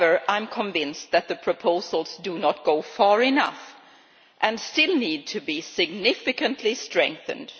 I am convinced that the proposals do not go far enough and still need to be significantly strengthened.